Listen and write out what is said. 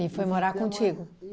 foi morar contigo?